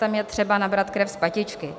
Tam je třeba nabrat krev z patičky